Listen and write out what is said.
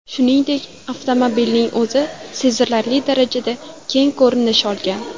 Shuningdek, avtomobilning o‘zi sezilarli darajada keng ko‘rinish olgan.